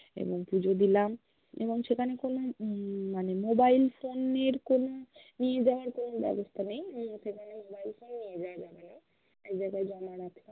এবং পুজো দিলাম এবং সেখানে কোন উম মানে mobilephone এর কোন, নিয়ে জাওয়ার কোন ব্য়বস্থা নেই, সেখানে mobile phone নিয়ে জাওয়া যাবে না. এক জায়গা জমা রাখ্লাম হম